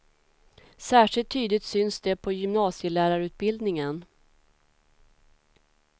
Särskilt tydligt syns det på gymnasielärarutbildningen.